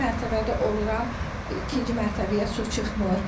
İkinci mərtəbədə oluram, ikinci mərtəbəyə su çıxmır.